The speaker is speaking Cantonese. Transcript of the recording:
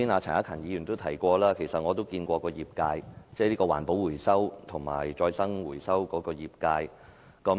陳克勤議員剛才提到，其實我們曾與業界，即環保回收和再生回收的業界會面。